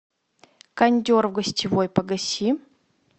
кондер в гостевой погаси